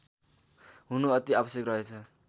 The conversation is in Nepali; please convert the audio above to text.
हुनु अति आवश्यक रहेछ